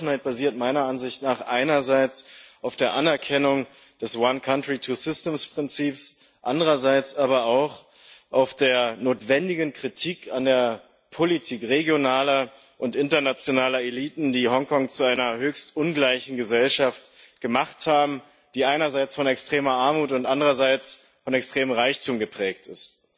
Diese Offenheit basiert meiner Ansicht nach einerseits auf der Anerkennung des Prinzips andererseits aber auch auf der notwendigen Kritik an der Politik regionaler und internationaler Eliten, die Hongkong zu einer höchst ungleichen Gesellschaft gemacht haben, die einerseits von extremer Armut und andererseits von extremem Reichtum geprägt ist.